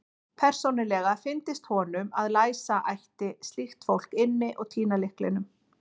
Persónulega fyndist honum að læsa ætti slíkt fólk inni og týna lyklinum.